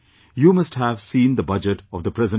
You must have seen the Budget of the present government